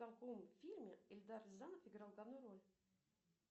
в каком фильме эльдар рязанов играл главную роль